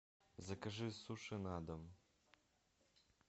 закажи суши на дом